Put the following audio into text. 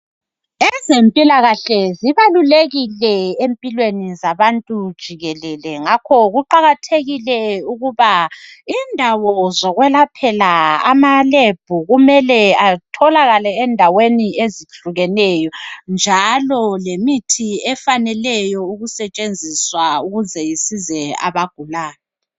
Ezempilakahle zibalulekile empilweni zabantu jikelele ngakho kuqakathekile ukuba indawo zokwelaphela amalebhu kumele atholakale endaweni ezehlukeneyo njalo lemithi efaneleyo ukusetshenziswa ukuze isize abagulayo.